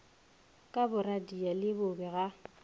ka boradia le bobe ga